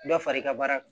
Dɔ fara i ka baara kan